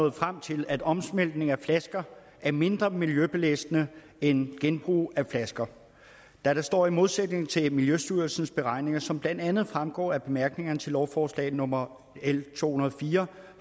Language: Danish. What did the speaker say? nået frem til at omsmeltning af flasker er mindre miljøbelastende end genbrug af flasker da det står i modsætning til miljøstyrelsens beregninger som blandt andet fremgår af bemærkningerne til lovforslag nummer l to hundrede og fire